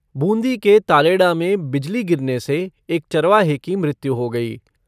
बूंदी के तालेडा में बिजली गिरने से एक चरवाहे की मृत्यु हो गई।